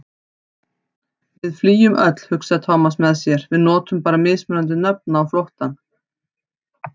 Við flýjum öll, hugsaði Thomas með sér, við notum bara mismunandi nöfn á flóttann.